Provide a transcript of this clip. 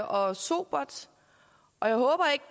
og sobert og jeg håber ikke